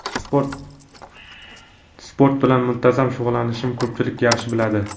Sport Sport bilan muntazam shug‘ullanishimni ko‘pchilik yaxshi biladi.